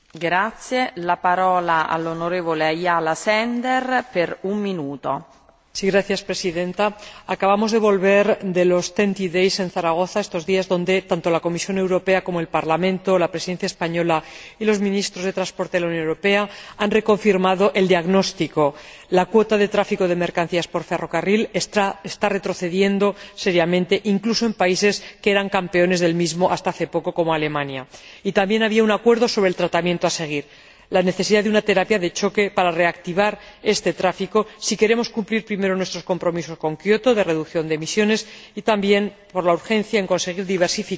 Señora Presidenta, acabamos de volver de los TEN T Days celebrados en Zaragoza estos días, donde, tanto la Comisión Europea como el Parlamento, la Presidencia española y los Ministros de Transportes de la Unión Europea han reconfirmado el diagnóstico la cuota de tráfico de mercancías por ferrocarril está retrocediendo seriamente, incluso en países que eran campeones del mismo hasta hace poco, como Alemania. Y también había un acuerdo sobre el tratamiento a seguir la necesidad de una terapia de choque para reactivar este tráfico si queremos cumplir primero nuestros compromisos con Kyoto de reducción de emisiones y también por la urgencia en conseguir la diversificación de las alternativas para el tráfico rampante por carretera, antes del colapso total.